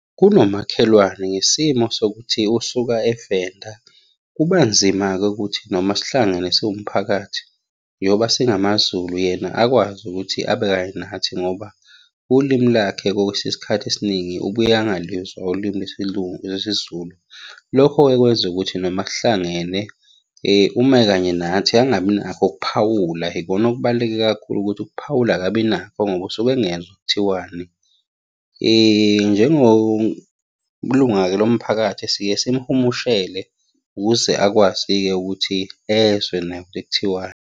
Kunomakhelwane ngesimo sokuthi usuka eVenda, kuba nzima-ke ukuthi noma sihlangene siwumphakathi, yoba singamaZulu yena akwazi ukuthi abe kanye nathi ngoba ulimi lakhe kokwesinye isikhathi esiningi, ubuye angaluzwa ulimi lwesiZulu. Lokho-ke kwenza ukuthi noma sihlangene, uma ekanye nathi, angabi nakho ukuphawula. Ikona okubaluleke kakhulu ukuthi ukuphawula akabi nakho ngoba usuke engezwa kuthiwani. Njengolunga-ke lo mphakathi siye simuhumushele ukuze akwazi-ke ukuthi ezwe naye ukuthi kuthiwani.